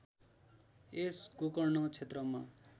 यस गोकर्ण क्षेत्रमा